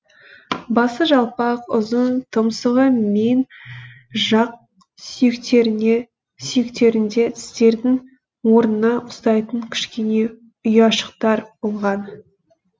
басы жалпақ ұзын тұмсығы мен жақ сүйектерінде тістердің орнына ұқсайтын кішкене ұяшықтар болған